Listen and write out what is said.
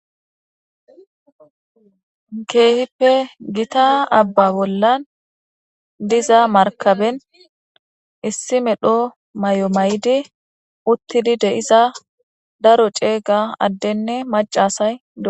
keehippe gita abba bollan diza markaben issi medho mayo maydi uttidi de7iza daro cega addenne macasay ud